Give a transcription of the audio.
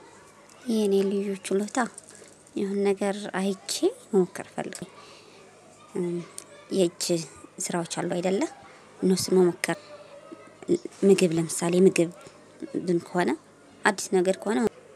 የኔ ልጆች ችሎታ የሆነ ነገር አይቼ መሞክር። እፈልጋለሁ ስራዎች አሉ አይደለ እነሱን መሞከር። ምግብ ለምሳሌ ምግብ ከሆነ አዲስ ነገር ከሆነ